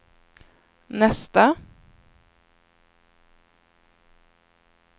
nästa